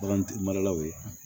Bagantigi maralaw ye